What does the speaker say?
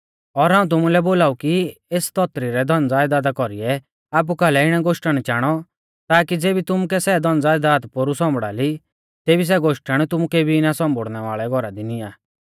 और हाऊं तुमुलै बोलाऊ कि एस धौतरी रै धनज़यदादा कौरीऐ आपु कालै इणै गोश्टण चाणौ ताकी ज़ेबी तुमुकै सै धनज़यदाद पोरु सौंबड़ा ली तेबी सै गोश्टण तुमु केबी ना सौम्बुड़नै वाल़ै घौरा दी निआं